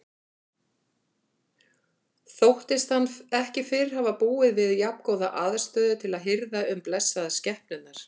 Þóttist hann ekki fyrr hafa búið við jafngóða aðstöðu til að hirða um blessaðar skepnurnar.